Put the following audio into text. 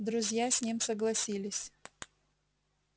друзья с ним согласились